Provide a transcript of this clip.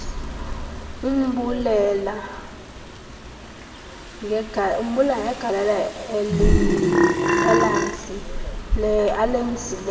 embulela ngegalelo alenzileyo